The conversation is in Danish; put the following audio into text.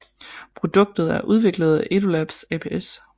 Produktet er udviklet af EduLab aps